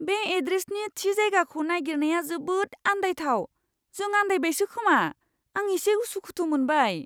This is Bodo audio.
बे एड्रेसनि थि जायगाखौ नागिरनाया जोबोद आन्दायथाव। जों आन्दायबायसो खोमा, आं एसे उसुखुथु मोनबाय!